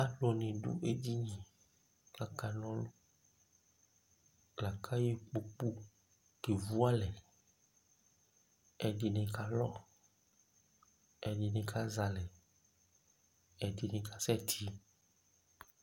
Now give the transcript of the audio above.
alʋ ni dʋ ɛdini lakʋ ayɔ ikpɔkʋ kɛvʋ alɛ, ɛdini kalɔ, ɛdini kazɛ alɛ, ɛdini kasɛ ti